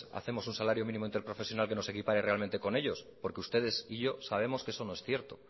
hacemos un salario mínimo interprofesional que nos equipare realmente con ellos porque ustedes y yo sabemos que eso no es cierto